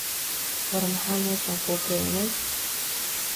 War maxa meshan kugeney.